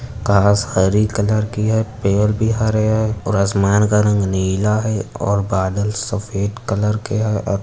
घास हरी कलर की है। पेड़ भी हरे है और आसमान का रंग नीला है और बादल सफ़ेद कलर के है और --